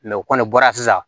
o kɔni bɔra sisan